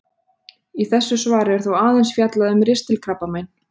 Í þessu svari er þó aðeins fjallað um ristilkrabbamein.